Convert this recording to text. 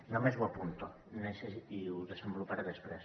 només ho apunto i ho desenvoluparé després